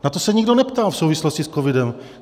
Na to se nikdo neptal v souvislosti s covidem.